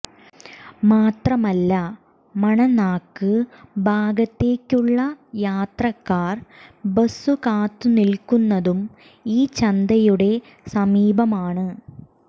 മാത്രമല്ല മണനാക്ക് ഭാഗത്തേക്കുള്ള യാത്രക്കാർ ബസു കാത്തു നിൽക്കുന്നതും ഈ ചന്തയുടെ സമീപമാണ്